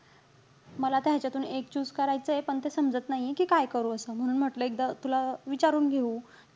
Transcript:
मला आता ह्याचातून एक choose करायचंय. पण ते समजत नाहीये कि काय करू असं. म्हणून म्हटलं, एकदा तुला विचारून घेऊ कि,